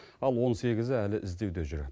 ал он сегізі әлі іздеуде жүр